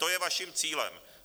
To je vaším cílem.